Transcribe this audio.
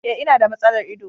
E, ina da matsalar ido.